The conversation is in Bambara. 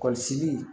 Kɔlɔsili